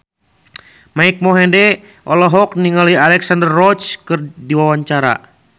Mike Mohede olohok ningali Alexandra Roach keur diwawancara